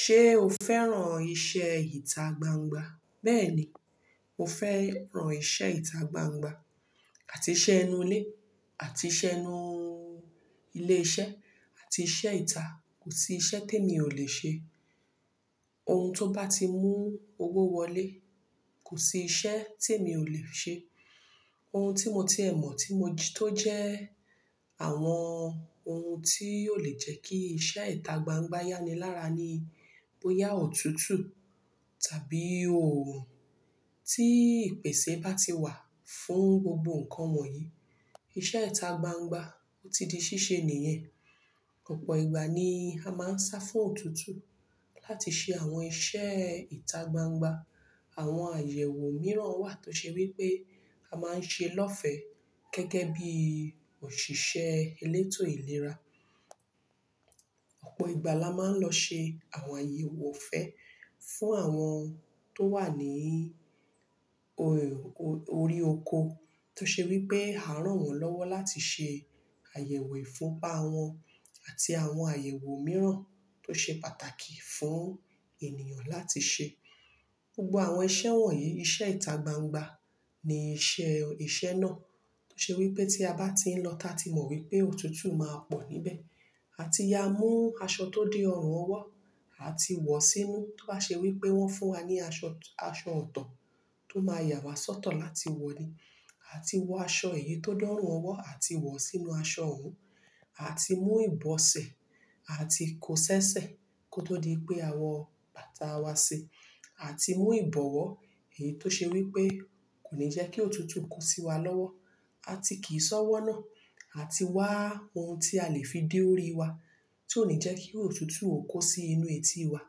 Ṣé o fẹ́ràn iṣẹ́ ìta gbangba? Bẹ́ẹ̀ ni, mo fẹ́ràn iṣẹ́ ìta gbangba àti iṣẹ́ inú ilé àti iṣẹ́ inú ilé-iṣẹ́ àti iṣẹ́ ìta. Kò sí iṣẹ́ tó mi ò lè ṣe. Ohun tó bá ti mú owó wọlé, kò sí iṣẹ́ tí èmi ò lè ṣe. Ohun tí mo ti ẹ mọ̀ tí mo jí tó jẹ́ àwọn ohun tí óò lè jẹ́ kí iṣẹ́ ìta gbangba yá ni lára ni bóyá òtútù tàbí òòrùn tí ìpèsè bá ti wà fún gbogbo nǹkan wọ̀nyí. Iṣẹ́ ìta gbangba ó ti di ṣíṣe nìyẹn. Ọ̀pọ̀ ìgbà ni a máa ń sá fún òtútù láti ṣe àwọn iṣẹ́ ìta gbangba. Àwọn àyẹ̀wò mìíràn wà tó ṣe wí pé a máa ń ṣe lọ́fẹ̀ẹ́ gẹ́gẹ́ bí òṣìṣẹ́ elétò ìlera. Ọ̀pọ̀ ìgbà la máa ń lọ ṣe àwọn àyẹ̀wò ọ̀fẹ́ fún àwọn tó wà níí o-o-orí oko tó ṣe wí pé à rán wọ́n lọ́wọ́ láti ṣe àyẹ̀wò ìfùnpa wọn àti àwọn àyẹ̀wò mìíràn tó ṣe pàtàkì fún ènìyàn láti ṣe. Gbogbo àwọn iṣẹ́ wọ̀nyí, iṣẹ́ ìta gbangba ni iṣẹ́, iṣẹ́ náà tó ṣe wí pé tí a bá ti ń lọ tá ti mọ̀ wí pé òtútù máa pọ̀ níbẹ̀, àti ya mú aṣọ tó dé ọrùn ọwọ́, àti wọ̀ sínú tó bá ṣe wí pé wọ́n fún wa ní aṣọ, aṣọ ọ̀tọ̀ tó máa yà wá sọ́tọ̀ láti wọ̀ ni. Àti wọ aṣọ èyí tó dọ̀ ọrùn ọwọ́ àti wọ̀ sínú aṣọ ọ̀un. Àti mú ìbọsẹ̀ àti kó ṣẹ́ṣẹ́ kó tó di pé àwọn bàtà wa síi. Àti mú ìbọwọ́ èyí tó ṣe wí pé kò ní jẹ́ kí òtútù kó sí wa lọ́wọ́. Àti kìí ṣọ́wọ́ náà. Àti wá ohun tí a lè fi dé orí wa tí ó ní jẹ́ kí òtútù ó kó sí inú etí wa,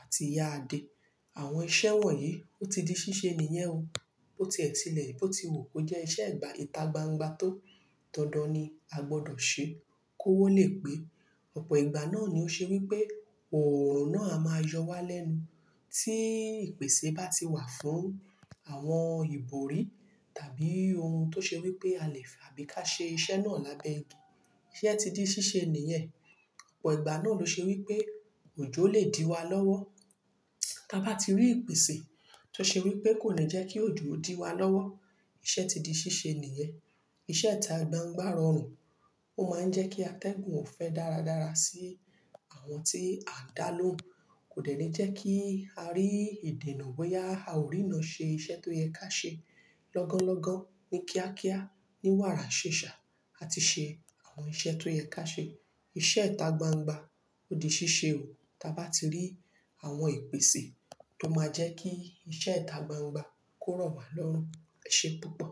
àti yaa de. Àwọn iṣẹ́ wọ̀nyí ó ti di ṣíṣe nìyẹn o. Bó tiẹ̀ tílẹ̀, bó ti wù kó jẹ́ iṣẹ́ ìgba ìta gbangba tó dandan ni a gbọdọ̀ ṣe kó owó lè pé. Ọ̀pọ̀ ìgbà náà ni ó ṣe wí pé òòrùn náà a máa yọ wá lẹ́nu tí ìpèsè bá ti wà fún àwọn ìbòrí tàbí ohun tó ṣe wí pé a lè fi àbí ká ṣe iṣẹ́ náà lábẹ́ igi. Iṣẹ́ ti di ṣíṣe nìyẹn. Ọ̀pọ̀ ìgbà náà ló ṣe wí pé òjò lè dí wa lọ́wọ́ táa bá ti rí ìpèsè tó ṣe wí pé kò ní jẹ́ kí òjò ó dí wa lọ́wọ́. Iṣẹ́ ti di ṣíṣe nìyẹn. Iṣẹ́ ìta gbangba rọrùn, ó máa ń jẹ́ kí atẹ́gùn ò fẹ dáradára sí àwọn tí à ń dá lóhùn. Kò dẹ̀ ní jẹ́ kí a rí ìdènà bóyá a ò rí iná ṣe iṣẹ́ tó yẹ ká ṣe. Lọ́gánlọ́gán ní kíákíá, ní wàrà ṣẹ̀ṣà, àti ṣe àwọn iṣẹ́ tó yẹ ká ṣe. Iṣẹ́ ìta gbangba ó di ṣíṣe o táa bá ti rí àwọn ìpèsè tó máa jẹ́ kí iṣẹ́ ìta gbangba kó rọ̀ wá lọ́rùn ṣe púpọ̀.